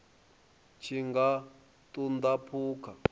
tshi nga ṱun ḓa phukha